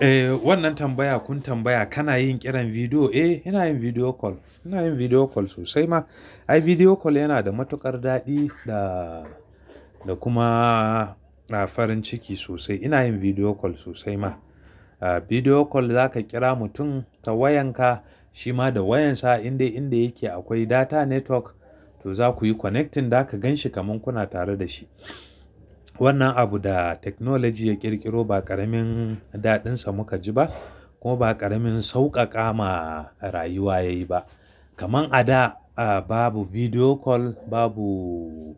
Eh, wannan tambaya kun tambaya kana yin ƙiran bidiyo? Eh, ina yin bidiyo call. Ina yin bidiyo call sosai ma. Ai, bidiyo call yana da matuƙar daɗi da, da kuma farin ciki sosai. Ina yin bidiyo call sosai ma. Ah, bidiyo call zaka kira mutum ta wayan ka, shi ma da wayan sa in dai inda yake akwai data network. To za ku yi connecting, za ka gan shi kaman kuna tare da shi. Wanna abu da technology ya ƙirƙiro ba ƙaramin daɗinsa muka ji ba kuma ba ƙaramin sauƙaƙa ma rayuwa yayi ba. Kaman a da, ah, babu bidiyo call, babu,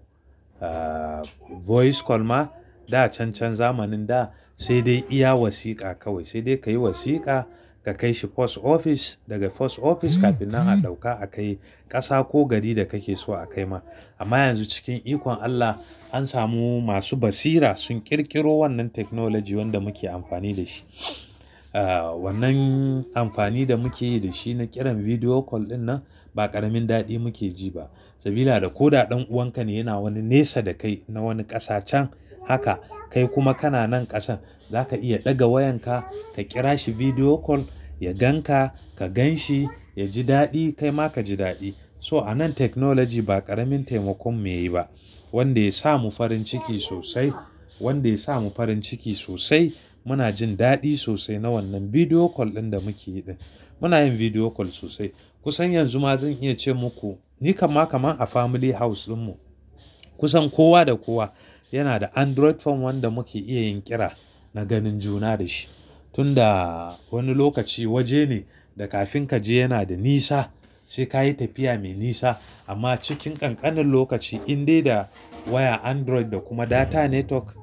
voice call ma. Da cancan zamanin da, sai dai iya wasiƙa kawai. Sai dai ka yi wasiƙa, ka kai shi post office. Daga post office kafin nan a ɗauka a kai ƙasa ko gari da kake so a kai ma. Amma yanzu cikin ikon Allah an samu masu basira sun ƙirƙiro wannan technology wanda muke amfani da shi. Ah, wannan amfani da muke yi da shi na ƙiran bidiyo call ɗinnan ba ƙaramin daɗi muke ji ba. Sabida da ko da ɗan uwan ka ne yana wani nesa da kai na wani ƙasa can, haka kai kuma kana nan ƙasan, za ka iya ɗaga wayan ka, ka kira shi bidiyo call, ya gan ka, ka gan shi, ya ji daɗi kai ma ka ji daɗi. So a nan technology ba ƙaramin taimakon mu yayi ba wanda ya sa mu farin ciki sosai, wanda ya sa mu farin ciki sosai. Muna jin daɗi sosai na wannan bidiyo call ɗin da muke yi. Muna yin bidiyo call sosai. Kusan yanzu ma zan iya ce maku, ni kama kama a family house ɗinmu, kusan kowa da kowa yana da Android phone wanda muke iya yin ƙira na ganin juna da shi. Tun da wani lokaci waje ne, da kafin ka je yana da nisa, sai ka yi tafiya mai nisa. Amma cikin ƙanƙanin lokaci in dai da waya Android da kuma data network,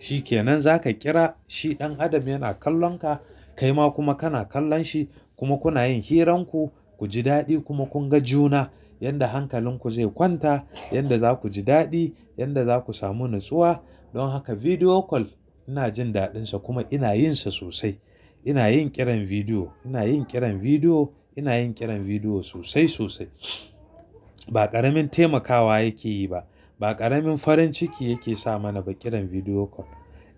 shi ke nan za ka kira shi. Ɗan adam yana kallon ka kai ma kuma kana kallon shi kuma kuna yin hiran ku, ku ji daɗi kuma kun ga juna. Yanda hankalin ku zai kwanta, yanda za ku ji daɗi, yanda za ku samu natsuwa. Don haka bidiyo call ina jin daɗinsa kuma ina yin sa sosai. Ina yin ƙiran bidiyo, ina yin ƙiran bidiyo, ina yin ƙiran bidiyo sosai sosai. Ba ƙaramin taimakawa yake yi ba. Ba ƙaramin farin ciki yake sa mana ba ƙiran bidiyo call.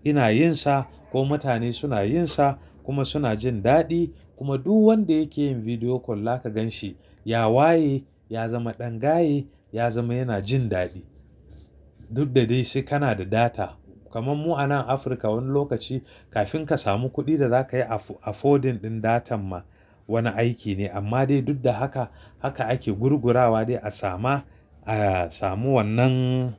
Ina yin sa ko mutane suna yin sa kuma suna jin daɗi. Kuma duk wanda yake yin bidiyo call za ka gan shi, ya waye, ya zama ɗan gaye, ya zama yana jin daɗi. Duk da dai sai kana da data. Kaman mu a nan Afirka wani lokaci kafin ka samu kuɗin da za ka yi affording ɗin datan ma wani aiki ne. Amma dai duk da haka, haka ake gurgurawa dai a sama, a samu wannan,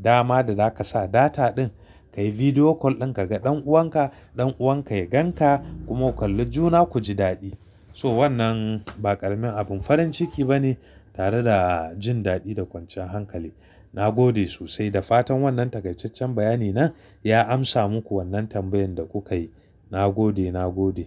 dama da za ka sa data ɗin ka yi bidiyo call in ka ga ɗan uwan ka, ɗan uwan ka ya gan ka kuma ku kalli juna ku ji daɗi. So wannan ba ƙaramin abin farin ciki ba ne tare da jin daɗi da kwancan hankali. Na gode sosai da fatan wannan takaitaccen bayani nan ya amsa muku wannan tambayan da kuka yi. Na gode, na gode.